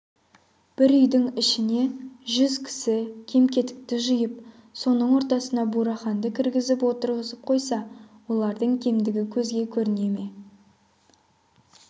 бір үйдің ішіне жүз кісі кем-кетікті жиып соның ортасына бураханды кіргізіп отырғызып қойса аналардың кемдігі көзге көріне ме